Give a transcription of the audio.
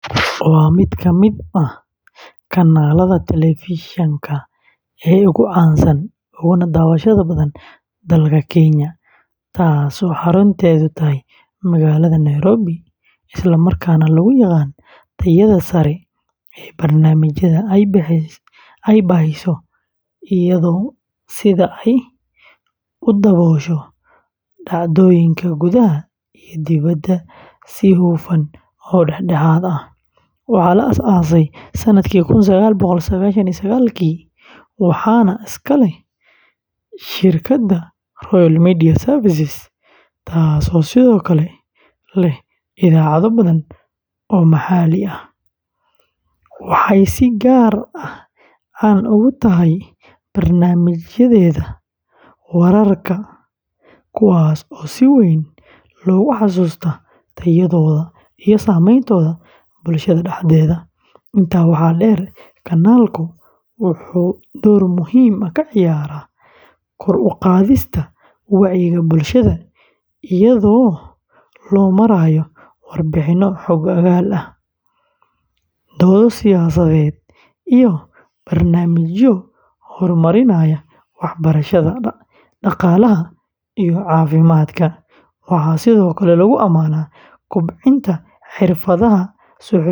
waa mid ka mid ah kanaalada telefishinka ee ugu caansan uguna daawashada badan dalka Kenya, taasoo xarunteedu tahay magaalada Nairobi, isla markaana lagu yaqaan tayada sare ee barnaamijyada ay baahiso iyo sida ay u daboosho dhacdooyinka gudaha iyo dibadda si hufan oo dhexdhexaad ah. Waxaa la aasaasay sanadkii kun sagaal boqol sagaashan iyo sagaalki, waxaana iska leh shirkadda Royal Media Services, taasoo sidoo kale leh idaacado badan oo maxalli ah. waxay si gaar ah caan ugu tahay barnaamijyadeeda wararka, kuwaas oo si weyn loogu xasuusto tayadooda iyo saameyntooda bulshada dhexdeeda. Intaa waxaa dheer, kanaalku wuxuu door muhiim ah ka ciyaaraa kor u qaadista wacyiga bulshada iyadoo loo marayo warbixinno xog-ogaal ah, doodo siyaasadeed, iyo barnaamijyo horumarinaya waxbarashada, dhaqaalaha iyo caafimaadka. Waxaa sidoo kale lagu amaanaa kobcinta xirfadaha suxufiyiinta.